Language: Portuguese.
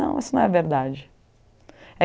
Não, isso não é verdade.